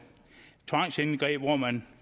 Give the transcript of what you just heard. tvangsindgreb hvor man